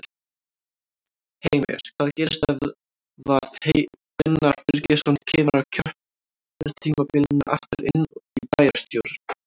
Heimir: Hvað gerist ef að Gunnar Birgisson kemur á kjörtímabilinu aftur inn í bæjarstjórn?